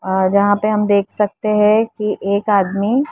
अ जहाँ पे हम देख सकते हैं कि एक आदमी --